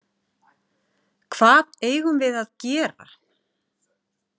Hvað eigum við að gera?